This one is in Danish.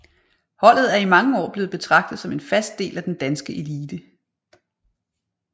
Holdet er i mange år blevet betragtet som en fast del af den danske elite